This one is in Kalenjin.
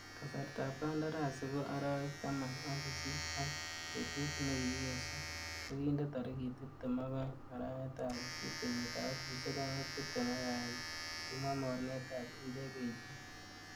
Kasartab kandarasi ko arawek taman ak sisit, ak betut nekikesu kokinde tarigit tibtem ak oeng arawetab sisit kenyitab elfusiek oeng ak tibtem ak agenge, kimwa mornetab indekeishiek.